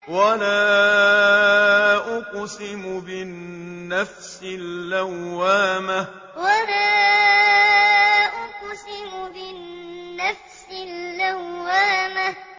وَلَا أُقْسِمُ بِالنَّفْسِ اللَّوَّامَةِ وَلَا أُقْسِمُ بِالنَّفْسِ اللَّوَّامَةِ